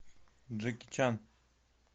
джеки чан